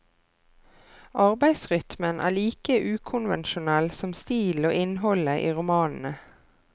Arbeidsrytmen er like ukonvensjonell som stilen og innholdet i romanene.